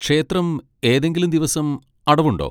ക്ഷേത്രം ഏതെങ്കിലും ദിവസം അടവുണ്ടോ?